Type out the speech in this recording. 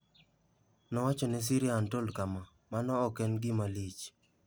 Nowacho ne SyriaUntold kama, "Mano ok en gima lich.